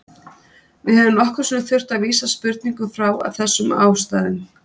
Við höfum nokkrum sinnum þurft að vísa spurningum frá af þessum ástæðum.